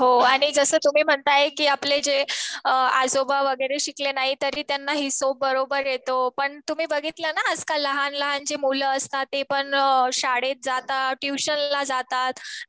हो आणि जसं तुम्ही म्हणताय कि आपले आजोबा वगैरे शिकले नाही तरी त्यांना हिशोब बरोबर येतो. पण तुम्ही बघितलं ना आजकाल लहान लहान जी मुलं असतात ते पण शाळेत जातात. ट्युशनला जातात.